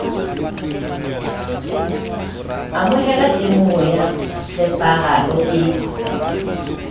amohela temoho ya tshepahalo e